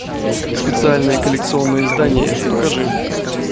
специальное коллекционное издание покажи